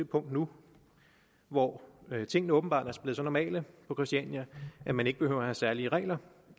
punkt nu hvor tingene åbenbart er blevet så normale på christiania at man ikke behøver at have særlige regler